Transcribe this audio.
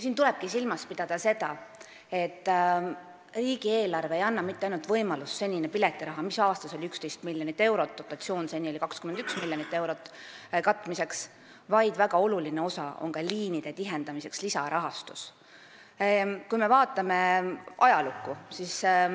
Siin tulebki silmas pidada seda, et riigieelarve ei anna mitte ainult võimalust katta senist piletiraha, mis oli aastas 11 miljonit eurot – dotatsioon oli seni 21 miljonit eurot –, vaid väga oluline osa on ka liinide tihendamiseks mõeldud lisarahastusel.